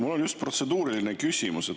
Mul on just protseduuriline küsimus.